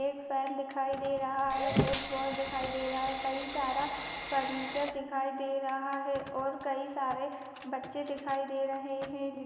एक फैन दिखाई दे रहा है एक बोर्ड दिखाई दे रहा है कई सारा फर्नीचर दिखाई दे रहा है और कई सारे बच्चे दिखाई दे रहे है जिन--